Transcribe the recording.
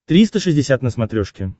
триста шестьдесят на смотрешке